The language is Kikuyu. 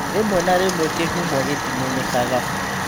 Rĩmwe na rĩmwe kĩhumo gĩtimenyekaga.